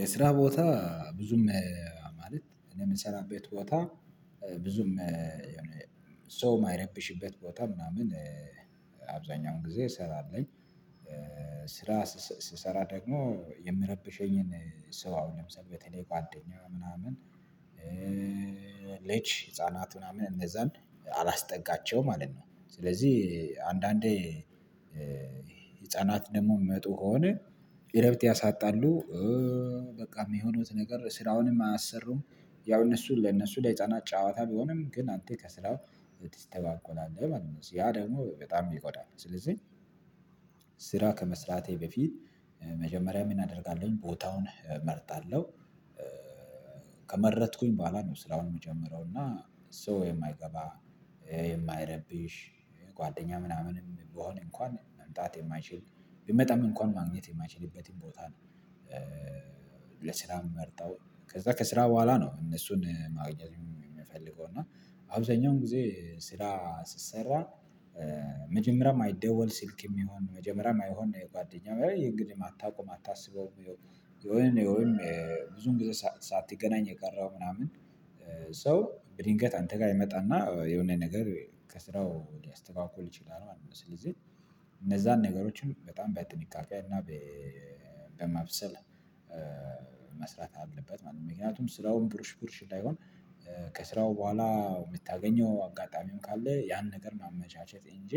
የስራ ቦታ ብዙም ማለት እኔ የምሰራበት ቦታ ብዙም ሰው የማይረብሽበት ቦታ ምናምን አብዛኛውን ጊዜ እሰራለሁ። ስራ ስሰራ ደግሞ የምረብሸኝን ሰው ለምሳሌ በተለይ ጓደኛዋ ምናምን ልጅ ህፃናት ምናምን እነዛን አላስጠጋቸውም ማለት ነው። ስለዚህ አንዳንዴ ህፃናት ደግሞ የሚመጡ ከሆነ እረፍት ያሳጣሉ በቃ የሚሆኑት ነገር ስራውንም አያሰሩም ያው እነሱ ለእነሱ ለህፃናት ጨዋታ ቢሆንም ግን አንተ ከስራው ትስተጓጎላለህ ማለት ነው ያ ደግሞ በጣም ይጎዳል። ስለዚህ ስራ ከመስራቴ በፊት መጀመሪያ ምን አደርጋለሁኝ ቦታውን እመርጣለሁ። ከመረጥኩኝ በኋላ ነው ስራውን የምጀምረው እና ሰው የማይገባ የማይረብሽ ጓደኛ ምናምንም ቢሆን እንኳን መምጣት የማይችል ቢመጣም እንኳን ማግኘት የማይችልበትን ቦታ ነው። ለስራ የምመርጠው ከዛ ከስራ በኋላ ነው እነሱን ማግኘት የምፈልገው እና አብዛኛውን ጊዜ ስራ ስሰራ። መጀመሪያም አይደወል ስልክ የሚሆን መጀመሪያም አይሆን የጓደኛው እንግዲህ አታውቁም አታስበውም። የሆነ የሆነ ብዙን ጊዜ ሳትገናኝ የቀረው ምናምን ሰው ድንገት አንተ ጋር ይመጣና የሆነ ነገር ከስራው ሊያስተጓጉል ይችላል። ስለዚህ እነዛን ነገሮችን በጣም በጥንቃቄ እና በማብሰል አለበት ማለት ነው። ምክንያቱም ስራውም ብሩሽ ብሩሽ እንዳይሆን ከስራው በኋላ የምታገኘው አጋጣሚውን ካለ ያን ነገር ማመቻቸት እንጂ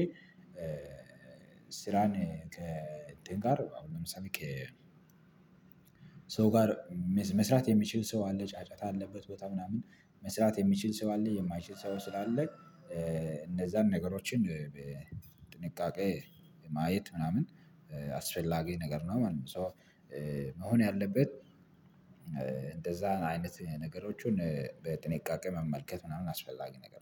ስራን ከእንትን ጋር ሰው ጋር መስራት የሚችል ሰው አለ ጫጫታ አለበት ቦታ ምናምን መስራት የሚችል ሰው አለ የማይችል ሰው ስላለ እንደዛን ነገሮችን በጥንቃቄ ማየት ምናምን አስፈላጊ ነገር ነው ማለት ነው። ሶ መሆን ያለበት እንደዛ አይነት ነገሮችን በጥንቃቄ መመልከት ምናምን አስፈላጊ ነገር